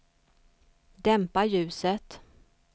dämpa ljuset